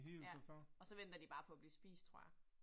Ja, og så venter de bare på at blive spist, tror jeg